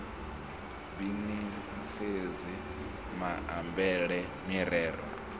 b ni sedze maambele mirero